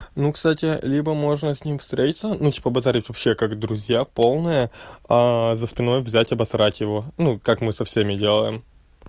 ну кстати либо можно с ним встретиться ну типа базарить вообще как друзья полное за спиной взять обосрать его ну как мы со всеми делаем